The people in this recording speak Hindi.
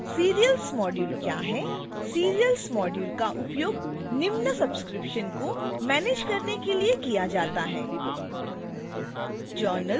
serials module क्या हैं